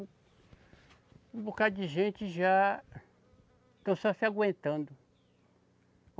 Um bocado de gente já, estão só se aguentando.